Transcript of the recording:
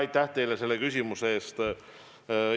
Aitäh teile selle küsimuse eest!